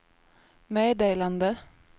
meddelande